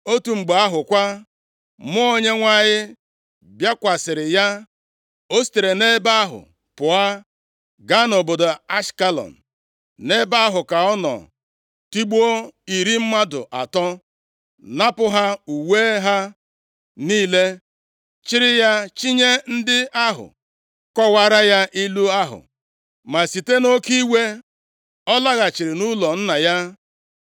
Otu mgbe ahụ kwa, Mmụọ Onyenwe anyị bịakwasịrị ya. O sitere nʼebe ahụ pụọ, gaa nʼobodo Ashkelọn. + 14:19 Ashkelọn bụ otu obodo nʼala Palestia. Nʼebe ahụ ka ọ nọ tigbuo iri mmadụ atọ, napụ ha uwe ha niile, chịrị ha chịnye ndị ahụ kọwaara ya ilu ahụ. Ma site nʼoke iwe, o laghachiri nʼụlọ nna ya.